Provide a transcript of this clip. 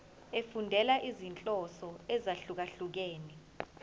efundela izinhloso ezahlukehlukene